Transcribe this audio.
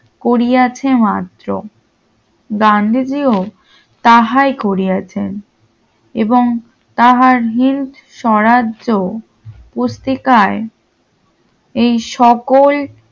করিয়াছে মাত্র গান্ধীজিও তাহাই করিয়াছেন এবং তাহার হিন্দ স্বরাজ্য পুস্তিকায় এই সকল